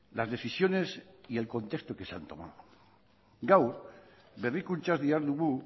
las decisiones y el contesto que se han tomado gaur berrikuntzaz dihardugu